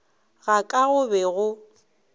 ga ka go be go